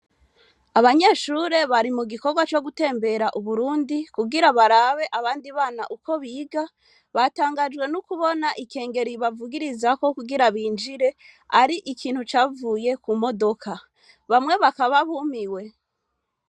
Abanyeshure bari mu gikorwa co gutembera Uburundi, kugira barabe abandi bana uko biga, batangajwe no kubona ikengeri bavugirizako kugira binjire, ari ikintu cavuye ku modoka; bamwe bakaba bumiwe.